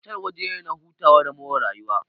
Otal waje ne na hutawa da more rayuwa.